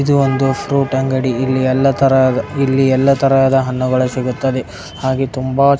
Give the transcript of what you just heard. ಇದು ಒಂದು ಪ್ರೋಟ ಅಂಗಡಿಯಲ್ಲಿ. ಇಲ್ಲಿ ಎಲ್ಲಾ ಇಲ್ಲಿ ಎಲ್ಲಾ ತರದ ಹಣ್ಣುಗಳು ಸಿಗುತ್ತವೆ ಹಾಗೆ ತುಂಬಾ --